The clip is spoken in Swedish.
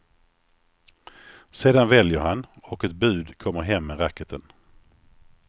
Sedan väljer han, och ett bud kommer hem med racketen.